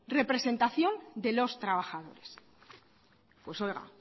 representación de los trabajadores pues oiga